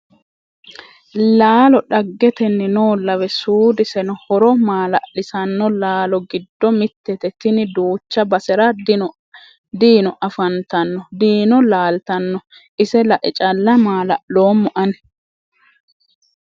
Laalo dhaggeniti noollawe suudiseno horo maala'lisano laallo giddo mitete tinni duucha basera diino affantanno diino laaltano ise lae calla maala'lommo ani.